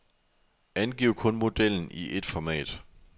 Angiv kun modellen i et format.